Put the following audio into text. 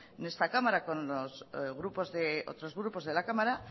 en esta cámara con otros grupos de la cámara